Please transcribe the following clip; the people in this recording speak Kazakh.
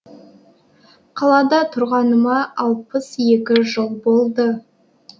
қалада тұрғаныма алпыс екі жыл болды